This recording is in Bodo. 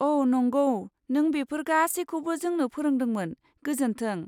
अ', नंगौ, नों बेफोर गासैखौबो जोंनो फोरोंदोंमोन, गोजोन्थों।